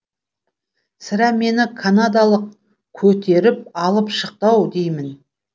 сірә мені канадалық көтеріп алып шықты ау дейім